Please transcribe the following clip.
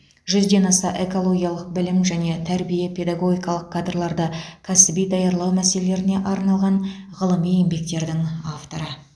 жүзден аса экологиялық білім және тәрбие педагогикалық қадрларды кәсіби даярлау мәселелеріне арналған ғылыми еңбектердің авторы